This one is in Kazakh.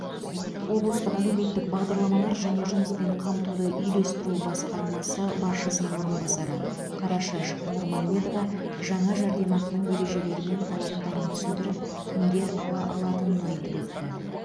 облыстық әлеуметтік бағдарламалар және жұмыспен қамтуды үйлестіру басқармасы басшысының орынбасары қарашаш нұрмамедова жаңа жәрдемақының ережелері мен талаптарын түсіндіріп кімдер ала алатынын айтып өтті